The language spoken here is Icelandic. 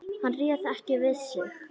Hann réð ekki við sig.